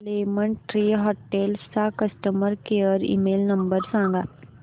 lemon tree hotels चा customer care email number सांगा